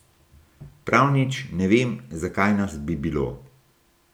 Prav nič, ne vem, zakaj nas bi bilo.